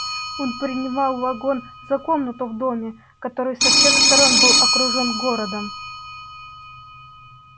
он принимал вагон за комнату в доме который со всех сторон был окружен городом